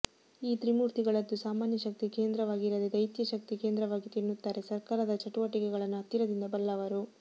ಈ ತ್ರಿಮೂರ್ತಿಗಳದ್ದು ಸಾಮಾನ್ಯ ಶಕ್ತಿ ಕೇಂದ್ರವಾಗಿರದೆ ದೈತ್ಯ ಶಕ್ತಿ ಕೇಂದ್ರವಾಗಿತ್ತು ಎನ್ನುತ್ತಾರೆ ಸರಕಾರದ ಚಟುವಟಿಕೆಗಳನ್ನು ಹತ್ತಿರದಿಂದ ಬಲ್ಲವರು